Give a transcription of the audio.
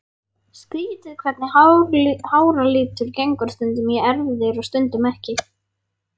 Skrýtið hvernig háralitur gengur stundum í erfðir og stundum ekki.